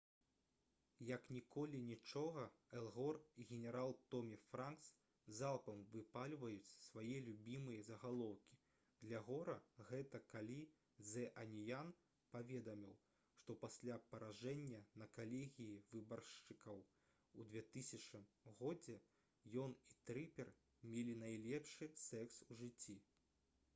як ніколі нічога эл гор и генерал томі франкс залпам выпальваюць свае любімыя загалоўкі для гора гэта калі «зэ аніян» паведаміў што пасля паражэння на калегіі выбаршчыкаў у 2000 г. ён і трыпер мелі найлепшы секс у жыцці